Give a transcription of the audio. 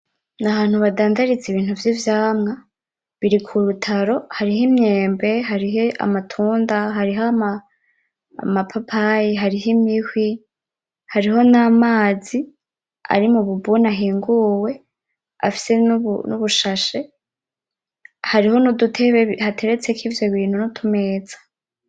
N’ahantu badandariza ibintu vy’ivyamwa biri kurutaro hariho imyembe, hariho amatunda, hariho amapapayi, hariho imihwi, hariho n’amazi ari mu bubuni ahinguwe afise n’ubushashe hariho n’udutebe hateretseko ivyobintu n’utumeza.